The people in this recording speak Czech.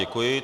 Děkuji.